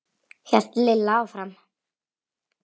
hélt Lilla áfram.